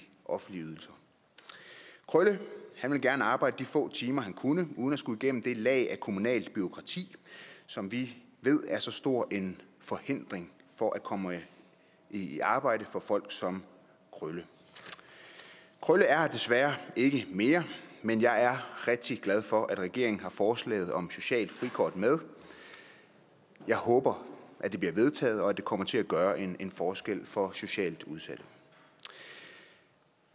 offentlige ydelser krølle ville gerne arbejde de få timer han kunne uden at skulle igennem det lag af kommunalt bureaukrati som vi ved er så stor en forhindring for at komme i arbejde for folk som krølle krølle er her desværre ikke mere men jeg er rigtig glad for at regeringen har forslaget om et socialt frikort med jeg håber at det bliver vedtaget og at det kommer til at gøre en forskel for socialt udsatte